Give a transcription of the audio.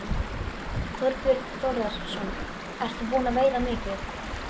Þorbjörn Þórðarson: Ert þú búin að veiða mikið?